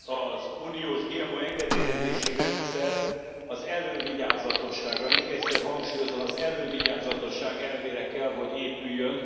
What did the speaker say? Az uniós GMO engedélyezési rendszer az elővigyázatosságra, még egyszer hangsúlyozom az elővigyázatosság elvére kell, hogy épüljön.